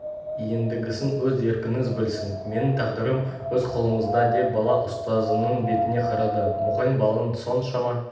ендігісін өз еркіңіз білсін менің тағдырым өз қолыңызда деп бала ұстазының бетіне қарады мұғалім баланың соншама